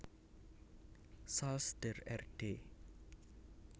Salz der Erde